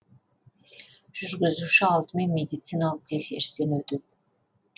жүргізуші алдымен медициналық тексерістен өтеді